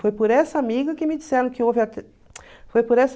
Foi por essa amiga que me disseram que houve foi por essa